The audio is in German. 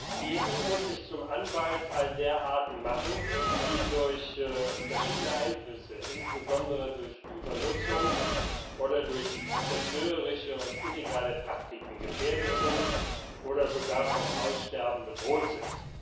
Die EU muss sich zum Anwalt all der Arten machen, die durch verschiedene Einflüsse, insbesondere durch Übernutzung oder durch zerstörerische und illegale Praktiken, gefährdet oder sogar vom Aussterben bedroht sind.